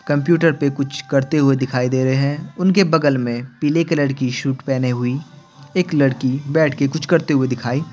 computer पे कुछ करते हुए दिखाई दे रहे है उनके बगल में पीले कलर की सूट पहने हुई एक लड़की बैठ के कुछ करते हुए दिखाई --